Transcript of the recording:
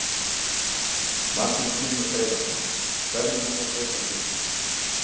Magnús Hlynur Hreiðarsson: Hverju mun það breyta fyrir ykkur?